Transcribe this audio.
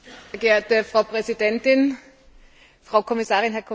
Frau Präsidentin, Frau Kommissarin, Herr Kommissar!